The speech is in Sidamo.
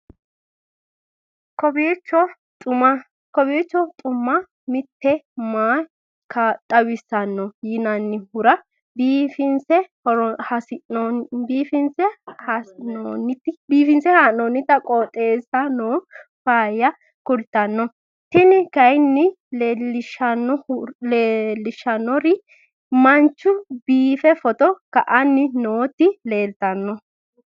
kowiicho xuma mtini maa xawissanno yaannohura biifinse haa'noonniti qooxeessano faayya kultanno tini kayi leellishshannori manchu biife photo ka'anni nooti leeltanno